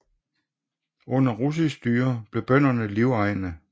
Under russisk styre blev bønderne livegne